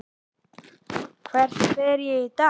Hvert fer ég í dag?